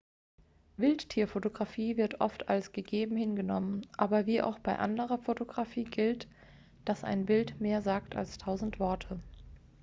wildtierfotografie wird oft als gegeben hingenommen aber wie auch bei anderer fotografie gilt dass ein bild mehr sagt als tausend worte